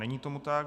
Není tomu tak.